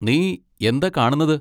നീ എന്താ കാണുന്നത്?